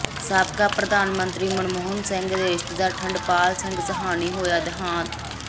ਸਾਬਕਾ ਪ੍ਰਧਾਨ ਮੰਤਰੀ ਮਨਮੋਹਨ ਸਿੰਘ ਦੇ ਰਿਸ਼ਤੇਦਾਰ ਠੰਡਪਾਲ ਸਿੰਘ ਸਾਹਨੀ ਹੋਇਆ ਦੇਹਾਂਤ